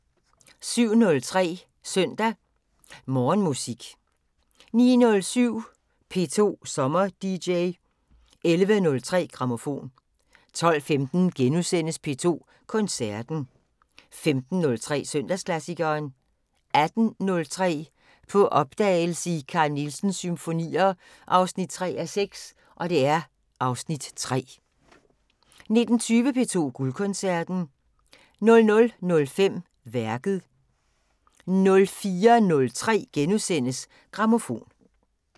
07:03: Søndag Morgenmusik 09:07: P2 SommerDJ 11:03: Grammofon 12:15: P2 Koncerten * 15:03: Søndagsklassikeren 18:03: På opdagelse i Carl Nielsens symfonier 3:6 (Afs. 3) 19:20: P2 Guldkoncerten 00:05: Værket 04:03: Grammofon *